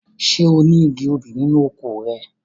Ṣé oní igi obì nínú oko rẹ?